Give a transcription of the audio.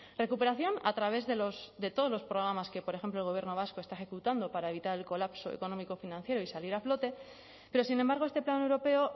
recuperación a través de todos los programas que por ejemplo el gobierno vasco está ejecutando para evitar el colapso económico financiero y salir a flote pero sin embargo este plan europeo